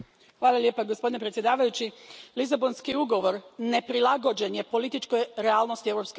Gospodine predsjedavajući, Lisabonski ugovor neprilagođen je političkoj realnosti Europske unije.